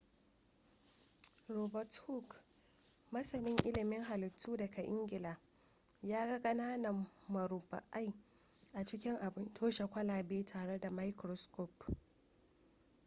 robert hooke masanin ilimin halittu daga ingila ya ga ƙananan murabba'ai a cikin abin toshe kwalaba tare da microscope